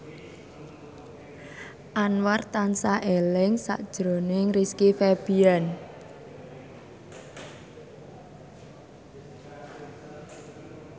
Anwar tansah eling sakjroning Rizky Febian